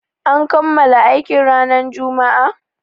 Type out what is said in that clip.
An kammala aikin ranar Juma'a?